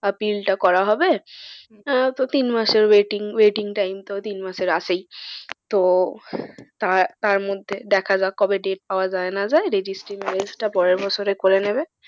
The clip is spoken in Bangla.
Appeal টা করা হবে। আহ তো তিন মাসের waiting waiting time তো তিন মাসের আছেই। তো তার মধ্যে দেখা যাক কবে date পাওয়া যায় না যায় registry marriage পরের বছর করে নেবে।